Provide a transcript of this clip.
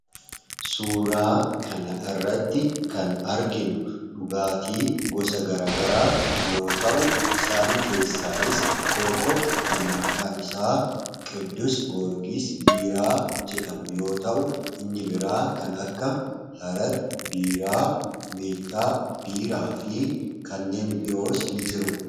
Suuraa kana irratti kan arginu dhugaatii gosa garaa garaa yoo ta'u isaan keessaayis tokko kan maqaan isaa Qidduus Goorgis Biiraa jedhamu yoo ta'u inni biraa kan akka Harar Biiraa ,Meettaa Biiraa fi kanneen biroos ni jiru.